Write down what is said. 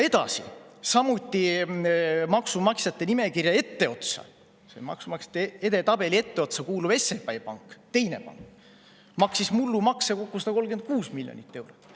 Edasi, samuti maksumaksjate edetabeli etteotsa kuuluv SEB Pank, teine pank, maksis mullu makse kokku 136 miljonit eurot.